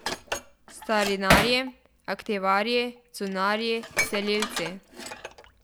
Starinarji, antikvarji, cunjarji, selilci.